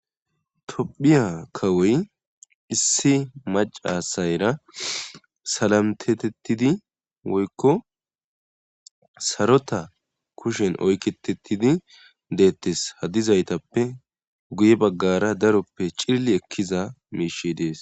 tophiya kawoy issi macasayra salamtetettidi woykko sarota kushen oyketettidi deettes hadizaytappe guye baggara daroppe cilli ekkiza meishe dees